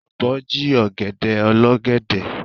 Ọ̀bọ jí ọ̀gẹ̀dẹ̀ olọ́gẹ̀dẹ̀.